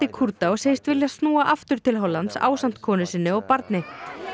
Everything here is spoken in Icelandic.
Kúrda og segist vilja snúa aftur til Hollands ásamt konu sinni og barni